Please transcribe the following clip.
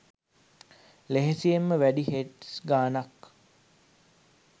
ලෙහෙසියෙන්ම වැඩි හිට්ස් ගණනක්